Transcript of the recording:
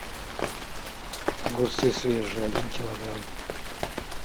огурцы свежие один килограмм